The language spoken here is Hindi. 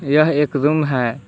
यह एक रूम है।